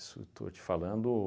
Isso estou te falando